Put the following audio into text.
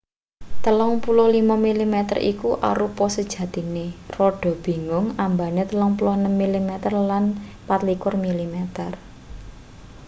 35mm iku arupa sejatine rada bingung ambane 36mm lan 24mm